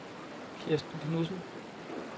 Kirsten Knudsen